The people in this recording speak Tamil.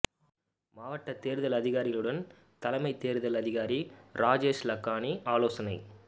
மாவட்ட தேர்தல் அதிகாரிகளுடன் தலைமை தேர்தல் அதிகாரி ராஜேஷ் லக்கானி ஆலோசனை